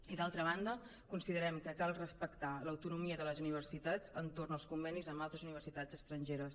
i d’altra banda considerem que cal respectar l’autonomia de les universitats entorn dels convenis amb altres universitats estrangeres